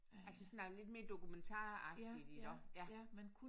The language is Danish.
Altså sådan noget lidt mere dokumentaragtigt iggå? Ja